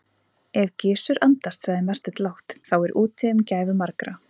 Ef Gizur andast, sagði Marteinn lágt,-þá er úti um gæfu margra.